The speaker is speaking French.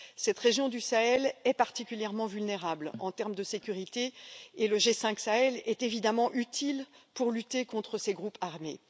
Cette région du Sahel est particulièrement vulnérable en termes de sécurité, et le G5 Sahel est évidemment utile pour lutter contre ces groupes armés.